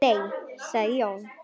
Nei sagði Jón.